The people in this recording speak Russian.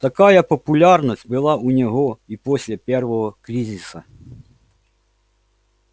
такая популярность была у него и после первого кризиса